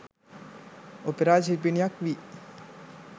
opera ශිල්පිනියක් වී